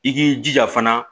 I k'i jija fana